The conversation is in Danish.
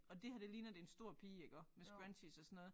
Og det her det ligner det en stor pige iggå med scrunchies og sådan noget